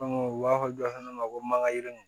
u b'a fɔ du fana ma ko mankannin